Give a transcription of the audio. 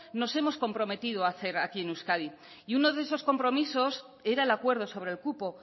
nos hemos comprometido a hacer aquí en euskadi y uno de esos compromisos era el acuerdo sobre el cupo